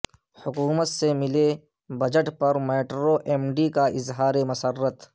حکومت سے ملے بجٹ پر میٹرو ایم ڈی کا اظہار مسرت